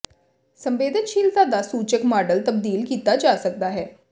ਸੰਵੇਦਨਸ਼ੀਲਤਾ ਦਾ ਸੂਚਕ ਮਾਡਲ ਤਬਦੀਲ ਕੀਤਾ ਜਾ ਸਕਦਾ ਹੈ